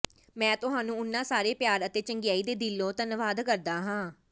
ਮੈਂ ਤੁਹਾਨੂੰ ਉਨ੍ਹਾਂ ਸਾਰੇ ਪਿਆਰ ਅਤੇ ਚੰਗਿਆਈ ਦੇ ਦਿਲੋਂ ਧੰਨਵਾਦ ਕਰਦਾ ਹਾਂ